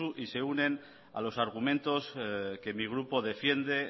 y se unen a los argumentos que mi grupo defiende